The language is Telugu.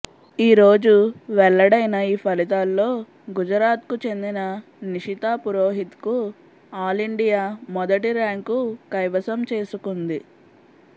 ఈ రోజు వెల్లడైన ఈ ఫలితాల్లో గుజరాత్కు చెందిన నిషితా పురోహిత్కు ఆల్ ఇండియా మొదటి ర్యాంకు కైవసం చేసుకుంది